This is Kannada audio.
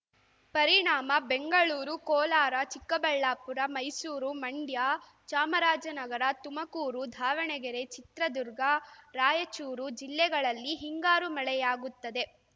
ಪರಿಣಾಮ ಬೆಂಗಳೂರು ಕೋಲಾರ ಚಿಕ್ಕಬಳ್ಳಾಪುರ ಮೈಸೂರು ಮಂಡ್ಯ ಚಾಮರಾಜನಗರ ತುಮಕೂರು ದಾವಣಗೆರೆ ಚಿತ್ರದುರ್ಗ ರಾಯಚೂರು ಜಿಲ್ಲೆಗಳಲ್ಲಿ ಹಿಂಗಾರು ಮಳೆಯಾಗುತ್ತದೆ